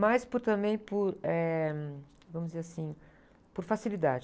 Mas po, também por, eh, vamos dizer assim, por facilidade.